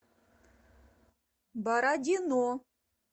бородино